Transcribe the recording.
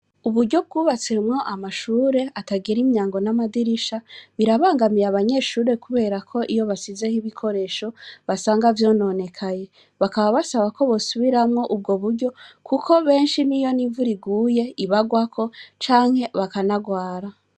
UIburyo bwubatsemwo amashure atagira imyango n'amadirisha, birabangamiye abanyeshure kubera ko iyo basizeho ibikoresho, basanga vyononekaye. Bakaba basaba ko bosubiramwo ubwo buryo, kuko benshi n'iyo n'imvura iguye ibagwako, canke bakanarwara.